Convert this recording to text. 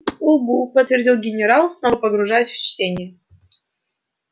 угу подтвердил генерал снова погружаясь в чтение